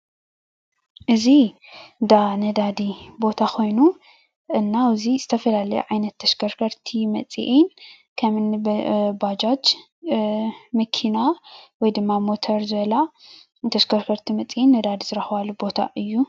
እዚ እንዳ ነዳዲ ቦታ ኮይኑ እና ኣብዚ ዝተፈላለያ ዓይነት ተሽከርከርቲ መፅአን ክመ እኒ ባጃጅ ፣መኪና ወይ ድማ ሞተር ዝበላ ተሽከርከርቲ መፅአን ነዳዲ ዝረክባሉ ቦታ እይ፡፡